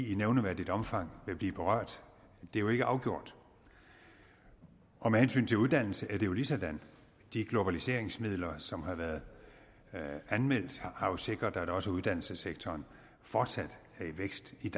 i nævneværdigt omfang vil blive berørt det er jo ikke afgjort og med hensyn til uddannelse er det jo ligesådan de globaliseringsmidler som har været anmeldt har jo sikret at også uddannelsessektoren fortsat er i vækst i